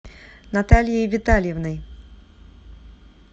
натальей витальевной